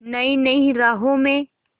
नई नई राहों में